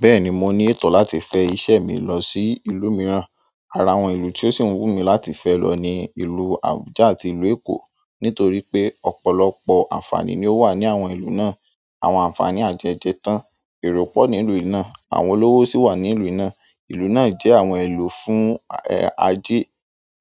Bẹ́ẹ̀ni, mo ní ètò láti fẹ́ iṣẹ́ mi lọ sí ìlú mìíràn. Ara àwọn ìlú tí ó sì ń wú mí láti fẹ́ lọ ni ìlú Abuja àti ìlú Èkó nítorí pé ọ̀pọ̀lọpọ̀ àǹfààní ni ó wà ní àwọn ìlú náà. Àwọn àǹfààní àjẹjẹ̀ tán, èrò pọ̀ nílùú i náà, àwọn olówó sì wà nílùú náà. Ìlú náà jẹ́ àwọn ìlú fún, ẹ́, ajé.